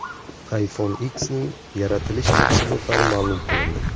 iPhone X ning yaratilishi tafsilotlari ma’lum qilindi.